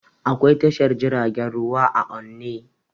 Akwai tashar jiragen ruwa a onne